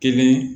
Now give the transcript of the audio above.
Kelen